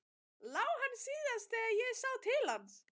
LÁ HANN SÍÐAST ÞEGAR ÉG SÁ TIL HANS.